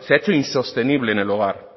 se ha hecho insostenible en el hogar